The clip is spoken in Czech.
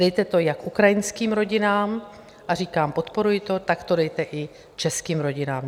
Dejte to jak ukrajinským rodinám, a říkám, podporuji to, tak to dejte i českým rodinám.